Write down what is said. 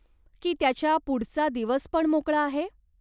की त्याच्या पुढचा दिवस पण मोकळा आहे?